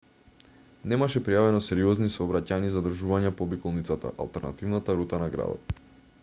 немаше пријавено сериозни сообраќајни задржувања по обиколницата алтернативната рута на градот